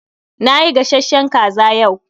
Nayi gashashen kaza yau.